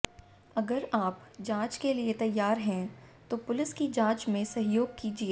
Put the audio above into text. अगर आप जांच के लिए तैयार हैं तो पुलिस की जांच में सहयोग कीजिए